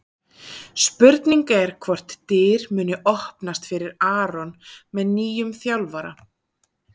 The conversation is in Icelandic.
Spurning er hvort dyr muni opnast fyrir Aron með nýjum þjálfara?